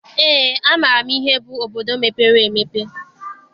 Eé, amaara m ihe bụ obodo mepere emepe.